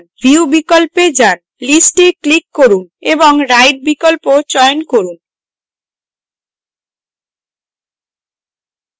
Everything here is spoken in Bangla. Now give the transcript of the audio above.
view বিকল্পে যান list এ click করুন এবং right বিকল্প চয়ন করুন